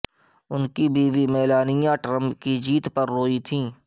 ان کی بیوی Melania Trump کی جیت پر روئی تھیں